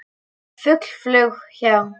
Fugl flaug hjá.